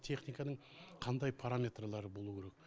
техниканың қандай параметрлары болуы керек